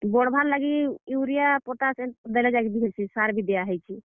ବଢବାର୍ ଲାଗି urea, potash ଏ, ଦେଲେ ଯେକ୍ ବି ହେସି, ସାର୍ ବି ଦିଆ ହେଇଛେ।